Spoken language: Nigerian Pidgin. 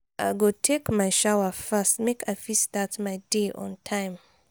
i go take my shower fast make i fit start my day on time.